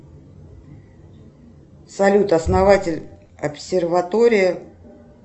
салют основатель обсерватории